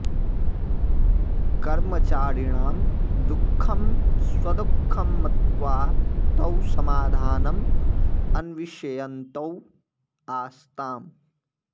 कर्मचारिणां दुःखं स्वदुःखं मत्वा तौ समाधानम् अन्विषयन्तौ आस्ताम्